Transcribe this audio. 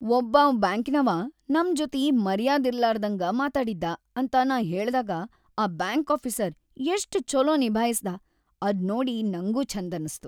ಒಬ್ಬಾವ್‌ ಬ್ಯಾಂಕಿನವಾ ನಮ್ ಜೊತಿ ಮರ್ಯಾದಿರ್ಲಾರ್ದಂಗ ಮಾತಾಡಿದ್ದಾ ಅಂತ ನಾ ಹೇಳ್ದಾಗ ಆ ಬ್ಯಾಂಕ್‌ ಆಫೀಸರ್‌ ಎಷ್ಟ್‌ ಛೊಲೋ ನಿಭಾಯ್ಸಿದ ಅದ್‌ ನೋಡಿ ನಂಗೂ ಛಂದನಸ್ತು.